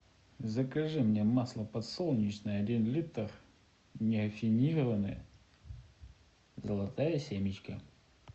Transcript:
закажи мне масло подсолнечное один литр нерафинированное золотая семечка